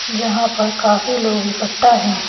जहां पर काफी लोग इकट्ठा है।